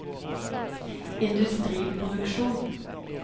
industriproduksjon